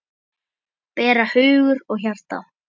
bera hugur og hjarta